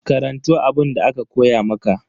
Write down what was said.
Karanto abunda aka koya maka.